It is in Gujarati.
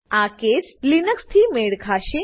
આ કેસ લિનક્સ થી મેળ ખાશે